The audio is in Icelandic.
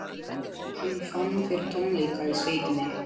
Hann fann fyrir tómleika í sveitinni.